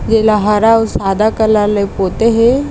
ये ला हरा अउ सादा कलर ले पोते हे।